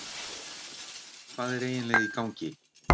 hvað er eiginlega í gangi